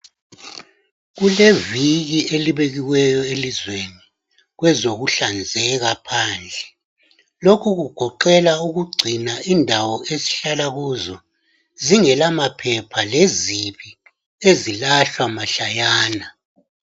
Kuleviki elibekiweyo elizweni kwezokuhlanzeka phandle lokhu kugoqela ukugcina indawo esihlala kuzo zingela maphepha lezibi ezilahlwa mahlayana